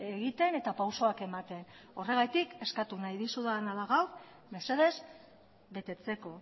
egiten eta pausoak ematen horregatik eskatu nahi dizudala da gaur mesedez betetzeko